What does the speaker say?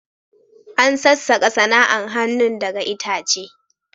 An sassakas sana'an hanun daga itace.